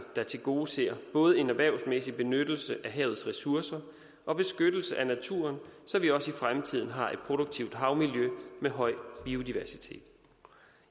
der tilgodeser både en erhvervsmæssig benyttelse af havets ressourcer og beskyttelse af naturen så vi også i fremtiden har et produktivt havmiljø med høj biodiversitet